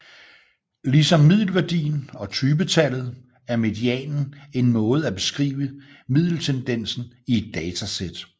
Ligesom middelværdien og typetallet er medianen en måde at beskrive middeltendensen i et datasæt